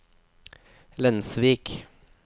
Lensvik